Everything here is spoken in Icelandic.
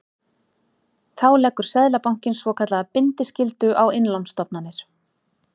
Þá leggur Seðlabankinn svokallaða bindiskyldu á innlánsstofnanir.